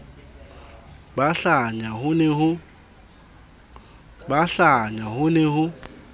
ba hlanya ho ne ho